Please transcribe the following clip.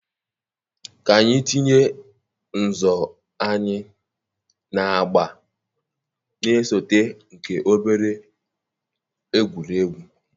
ka anyị tinye nzọ anyị na agba na-esote nke obere egwuregwu.